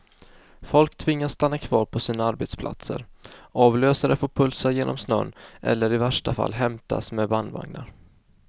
Folk tvingas stanna kvar på sina arbetsplatser, avlösare får pulsa genom snön eller i värsta fall hämtas med bandvagnar.